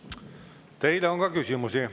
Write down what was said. Teile on küsimusi.